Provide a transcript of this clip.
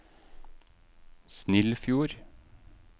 Snillfjord